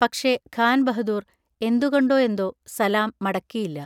പക്ഷേ, ഖാൻ ബഹദൂർ എന്തുകൊണ്ടോ എന്തോ സലാം മടക്കിയില്ല.